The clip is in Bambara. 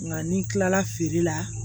Nka ni kila la feere la